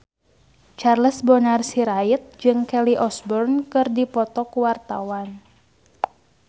Charles Bonar Sirait jeung Kelly Osbourne keur dipoto ku wartawan